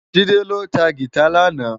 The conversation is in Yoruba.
JIde lô tá gitá làná